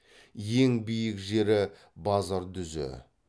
ең биік жері базардүзі